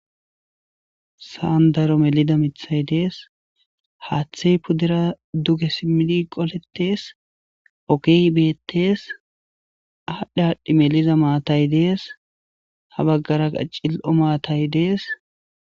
Sa'an daro melida miththay dees, haaththey pudera duge simmidi qoletishe dees, ogey beetes aadhi aadhi melida maatay dees. ha bagara cili'o matayi dess.